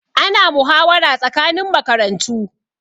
Ana muhawara tsakanin makarantu